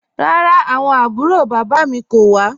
Rárá, awọn àbúrò baba mi kò wà.